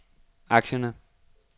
aktierne